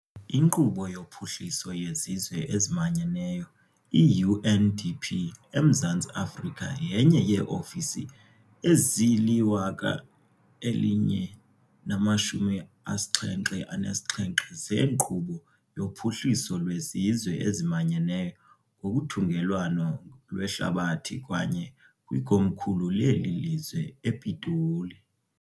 Inkqubo yoPhuhliso yeZizwe eziManyeneyo, i-UNDP, eMzantsi Afrika yenye yeeofisi ezili-1077 zeNkqubo yoPhuhliso lweZizwe eziManyeneyo ngokuthungelwano lwehlabathi kwaye kwikomkhulu leli lizwe ePitoli.